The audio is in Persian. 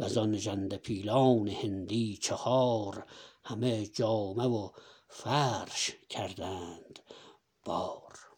وزان ژنده پیلان هندی چهار همه جامه و فرش کردند بار